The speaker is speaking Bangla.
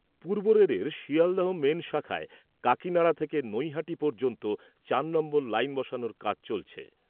পূর্ব রেলের শিয়ালদহ মেন শাখায় কাকিনাড়া থেকে নৈহাটি পর্যন্ত চার নম্বর লাইন বসানোর কাজ চলেছে ।